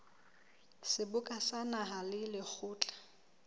seboka sa naha le lekgotla